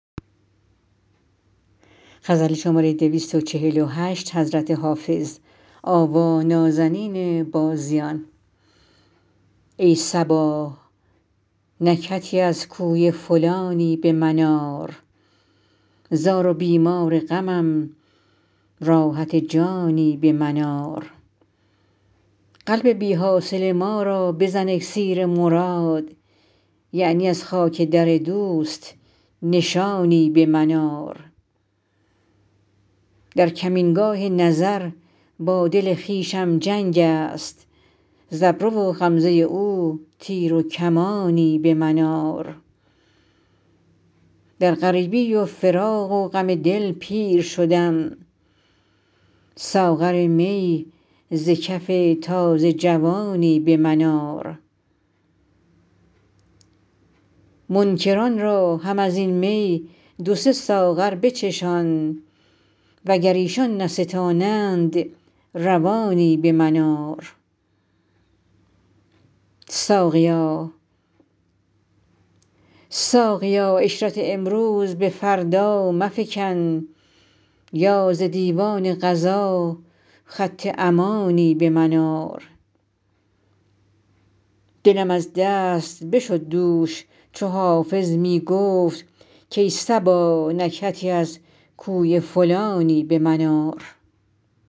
ای صبا نکهتی از کوی فلانی به من آر زار و بیمار غمم راحت جانی به من آر قلب بی حاصل ما را بزن اکسیر مراد یعنی از خاک در دوست نشانی به من آر در کمینگاه نظر با دل خویشم جنگ است ز ابرو و غمزه او تیر و کمانی به من آر در غریبی و فراق و غم دل پیر شدم ساغر می ز کف تازه جوانی به من آر منکران را هم از این می دو سه ساغر بچشان وگر ایشان نستانند روانی به من آر ساقیا عشرت امروز به فردا مفکن یا ز دیوان قضا خط امانی به من آر دلم از دست بشد دوش چو حافظ می گفت کای صبا نکهتی از کوی فلانی به من آر